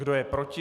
Kdo je proti?